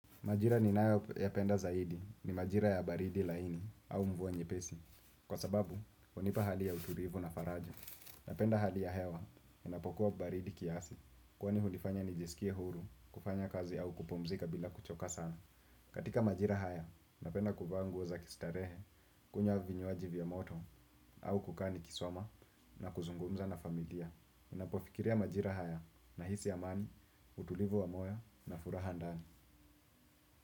Majira ninayo yapenda zaidi ni majira ya baridi laini au mvua nyepesi. Kwa sababu, hunipa hali ya utulivu na faraja. Napenda hali ya hewa, unapokuwa baridi kiasi. Kwani hunifanya nijisikie huru, kufanya kazi au kupumzika bila kuchoka sana. Katika majira haya, napenda kuvaa nguo za kistarehe, kunywa vinywaji vya moto, au kukaa nikisoma na kuzungumza na familia. Ninapofikiria majira haya nahisi amani, utulivu wa moyo na furaha ndani.